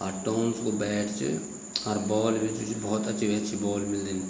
अर टोंस कु बैट च अर बॉल भी जू च भोत अच्छी-अच्छी बॉल मिल्दीन।